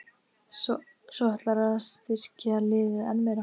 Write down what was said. Svo ætlarðu að styrkja liðið enn meira?